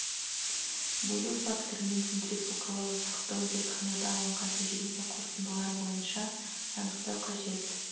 бөлу факторы мен центрифугалау ұзақтығын зертханада алынған тәжірибе қорытындылары бойынша анықтау қажет